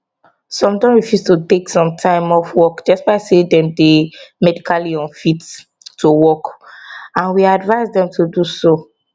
some don refuse to take some time off work despite say dem dey medically unfit to work and we advise dem to do so